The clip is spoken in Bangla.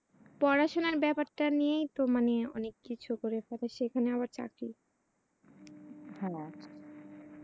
পড়াশুনার ব্যাপারটা নিয়েই তো ইয়ে মানি অনেক কিছু করে পেলে সেখানে আবার চাকরি?